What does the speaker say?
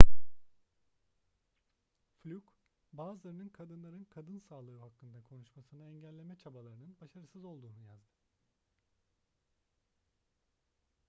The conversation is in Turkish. fluke bazılarının kadınların kadın sağlığı hakkında konuşmasını engelleme çabalarının başarısız olduğunu yazdı